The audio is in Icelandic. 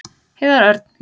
Heiðar Örn: Já.